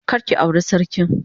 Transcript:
Kar ki aure sarkin.